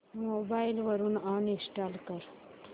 mobile वरून uninstall कर